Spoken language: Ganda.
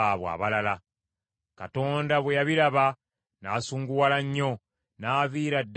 Katonda bwe yabiraba n’asunguwala nnyo, n’aviira ddala ku Isirayiri.